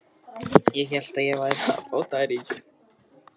Ég hélt ég væri að fá tæringu.